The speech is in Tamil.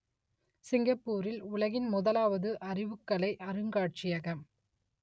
சிங்கப்பூரில் உலகின் முதலாவது அறிவுக்கலை அருங்காட்சியகம்